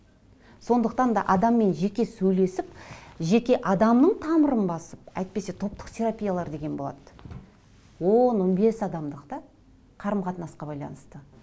сондықтан да адаммен жеке сөйлесіп жеке адамның тамырын басып әйтпесе топтық терапиялар деген болады он он бес адамдық да қарым қатынасқа байланысты